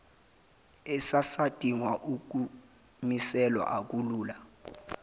esisadinga ukumiselwa akulula